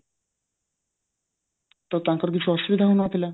ତ ତାଙ୍କର କିଛି ଅସୁବିଧା ହଉନଥିଲା